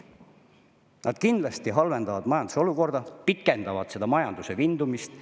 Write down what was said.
Nad kindlasti halvendavad majanduse olukorda, pikendavad majanduse vindumist.